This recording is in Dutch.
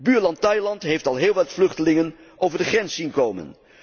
Buurland Thailand heeft al heel wat vluchtelingen over de grens zien komen.